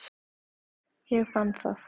Ég fann það.